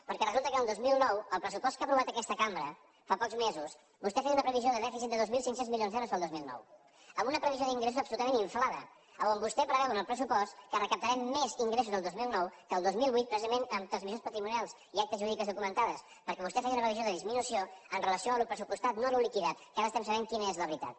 perquè resulta que per al dos mil nou al pressupost que ha aprovat aquesta cambra fa pocs mesos vostè feia una previsió de dèficit de dos mil cinc cents milions d’euros per al dos mil nou amb una previsió d’ingressos absolutament inflada on vostè preveu en el pressupost que recaptarem més ingressos el dos mil nou que el dos mil vuit precisament amb transmissions patrimonials i actes jurídics documentats perquè vostè feia una previsió de disminució amb relació al pressupostat no al liquidat que ara estem sabent quina és la veritat